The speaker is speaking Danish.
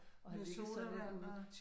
Og havde ligget sådan lidt ude